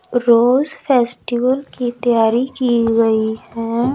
रोज festival की तैयारी की गई हैं।